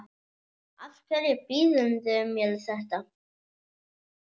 Af hverju býðurðu mér þetta?